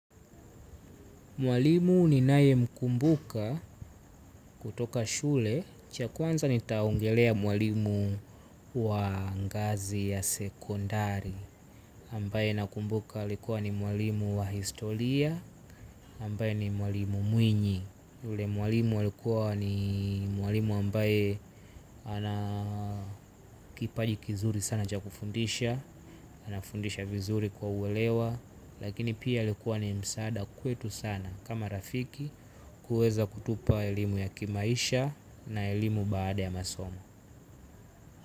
Mwalimu ninaye mkumbuka kutoka shule. Cha kwanza nitaongelelea mwalimu wa ngazi ya sekondari. Ambaye nakumbuka alikuwa ni mwalimu wa historia ambaye ni mwalimu mwenye alikuwa ni mwalimu ambaye ana kipaji kizuri sana cha kufundisha anafundisha vizuri ili kuelewa lakini pia alikwa ni wa msaada kwetu sana kama marafiki. Ili kuweza kutupa elimu ya kimaisha na elimu baada ya masomo.